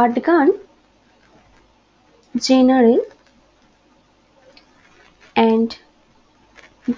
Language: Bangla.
আটগান general and